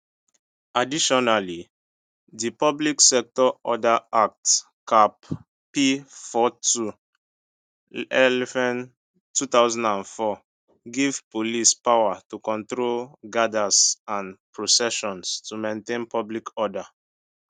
additionally di public order act cap p42 lfn 2004 give police power to control gatherings and processions to maintain public order